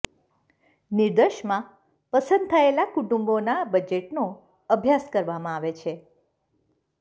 નિદર્શમાં પસંદ થયેલાં કુટુંબોનાં બજેટનો અભ્યાસ કરવામાં આવે છે